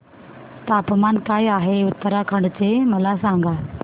तापमान काय आहे उत्तराखंड चे मला सांगा